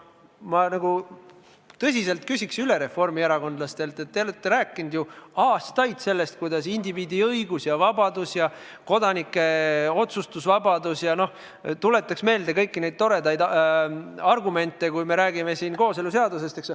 Ma küsiks reformierakondlastelt tõsiselt üle selle kohta, et te olete aastaid rääkinud indiviidi õigustest ja vabadustest, sh kodanike otsustusvabadusest – tuletan meelde kõiki neid toredaid argumente, kui räägime kooseluseadusest.